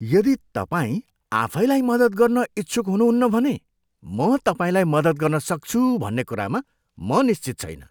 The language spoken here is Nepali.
यदि तपाईँ आफैलाई मद्दत गर्न इच्छुक हुनुहुन्न भने म तपाईँलाई मद्दत गर्न सक्छु भन्ने कुरामा म निश्चित छैन।